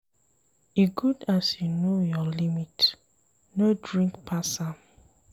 E good as you know your limit, no drink pass am.